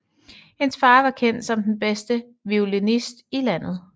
Hendes far var kendt som den bedste violinist i landet